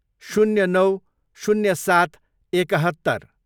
शून्य नौ, शून्य सात, एकहत्तर